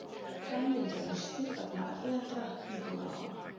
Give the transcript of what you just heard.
Framlengja lausnir vegna erlendra íbúðalána